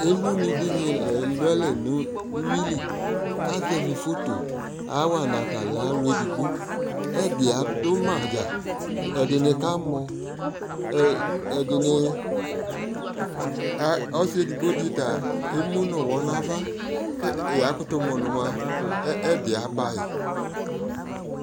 Elunɩ dɩnɩ la elualɛ nʋ uyui li, kʋ azɛvɩ foto kɔyawa nʋ ata lɛ alʋ edigbo Ɛdɩ adʋ ma dza, ɛdɩnɩ kamɔ, ɛdɩnɩ, ɔsɩ edigbo dɩ ta emu nʋ ʋɣɔ nʋ ava, kʋ yakʋtʋmʋ nʋ mʋa, ɛdɩ aba yɩ